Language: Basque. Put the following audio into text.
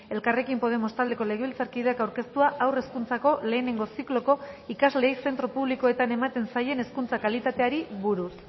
elkarrekin podemos taldeko legebiltzarkideak aurkeztua haur hezkuntzako lehenengo zikloko ikasleei zentro publikoetan ematen zaien hezkuntza kalitateari buruz